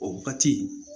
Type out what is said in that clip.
O batii